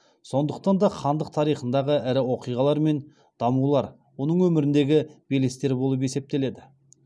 сондықтан да хандық тарихындағы ірі оқиғалар мен дамулар оның өміріндегі белестер болып есептеледі